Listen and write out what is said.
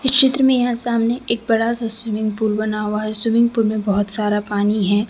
इस चित्र में है सामने एक बड़ा सा स्विमिंग पूल बना हुआ है स्विमिंग पूल में बहुत सारा पानी है।